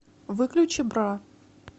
выключи бра